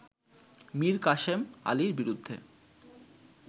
মীর কাসেম আলীর বিরুদ্ধে